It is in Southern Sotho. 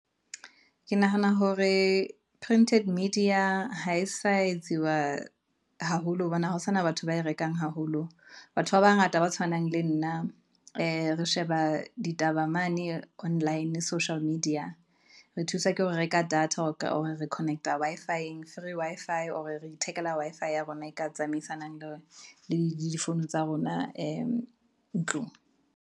Ke nahana hore printed media ha e sa etsiwa haholo hobane ha ho sana batho ba e rekang haholo, batho ba bangata ba tshwanang le nna, re sheba ditaba mane online social media. Re thusa ke hore reka data or re connect-a Wi-Fi-eng. free Wi-Fi or re ithekela Wi-Fi ya rona e ka tsamaisanang le di phone tsa rona ntlong?